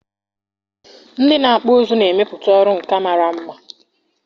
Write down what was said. Ndị na-akpụ ụzụ na-emepụta ọrụ nka mara mma..